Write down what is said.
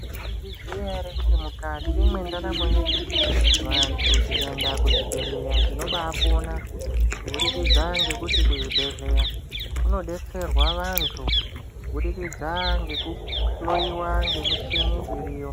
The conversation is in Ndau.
Maizviziya ere kuti mukati mwendaramo yedu vantu tikaenda Kuzvibhedhleya tinobapona kubudikidza ngekuti kuzvibhedhleya kunodetserwa vantu kubudikidza ngekuhloyiwa ngemichini iriyo.